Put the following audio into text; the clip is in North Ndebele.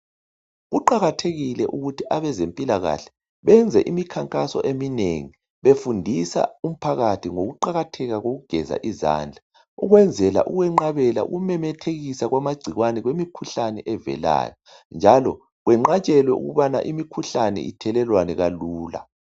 Kuqakathekile ukuthi abezempilakahle benze imikhankaso eminengi befundisa umphakathi ngokuqakatheka kokugeza izandla, ukwenzela ukwenqabela ukumemethekisa kwamagcikwane kwemikhuhlane evelayo. Njalo, kwenqatshelwe ukubana imikhuhlane ithelelwane kalula.